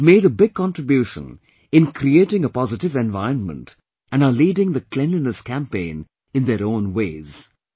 They have made a big contribution in creating a positive environment and are leading the Cleanliness Campaign in their own ways